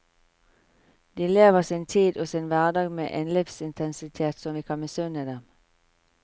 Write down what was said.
De lever sin tid og sin hverdag med en livsintensitet som vi kan misunne dem.